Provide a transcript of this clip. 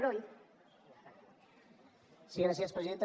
sí gràcies presidenta